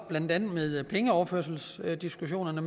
blandt andet pengeoverførselsdiskussionerne